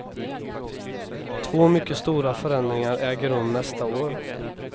Två mycket stora förändringar äger rum nästa år.